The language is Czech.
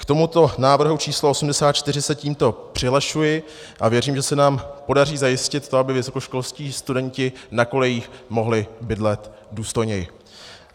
K tomuto návrhu číslo 84 se tímto přihlašuji a věřím, že se nám podaří zajistit to, aby vysokoškolští studenti na kolejích mohli bydlet důstojněji.